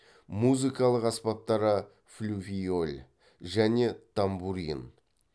музыкалық аспаптары флювиоль және тамбурин